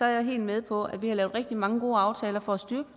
jeg er helt med på at vi har lavet rigtig mange gode aftaler for at styrke